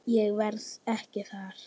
Ég verð ekki þar.